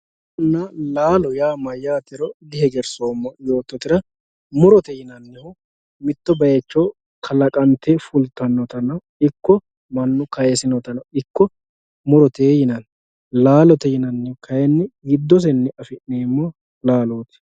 Murona laalo mayyatero dihegersoommo yoottotera ,murote yinannihu mitto bayicho kalaqante fultanottano ikko mannu kaysinottano ikko murote yinanni, laalote yinannihu kayinni giddosenni affi'neemmo laaloti.